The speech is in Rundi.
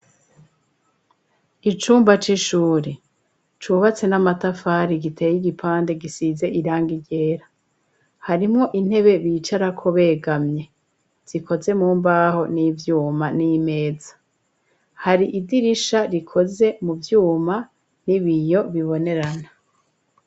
Icumba c'ishuri, cubatse n'amatafari, giteye igipande, gisize irangi ryera; harimwo intebe bicarako, begamye, zikoze mumbaho n'ibyuma, n'imeza; hari idirisha, rikoze mu vyuma, n'ibiyo bibonerana.